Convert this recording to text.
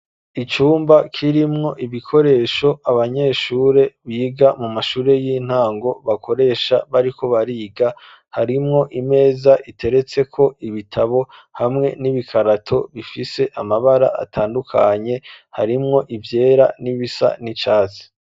Icumba k'irimwo ibikoresho abanyeshure biga mu mashure y'intango bakoresha bariko bariga harimwo imeza iteretseko ibitabo hamwe n'ibikarato bifise amabara atandukanye harimwo ivyera n'ibisa n'icatsi.